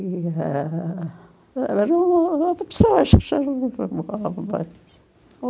e, eh... Eram outras pessoas